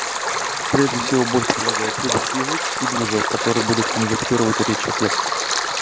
прежде всего бот предлагает выбрать язык и движок который будет конвертировать речь в текст